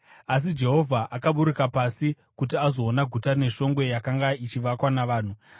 Asi Jehovha akaburuka pasi kuti azoona guta neshongwe yakanga ichivakwa navanhu.